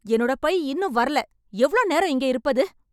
என்னோட பை இன்னும் வரல எவ்ளோ நேரம் இங்கே இருப்பது